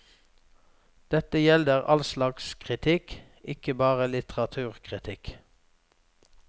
Dette gjelder all slags kritikk, ikke bare litteraturkritikk.